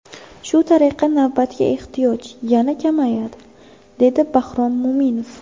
Shu tariqa navbatga ehtiyoj yana kamayadi”, dedi Bahrom Mo‘minov.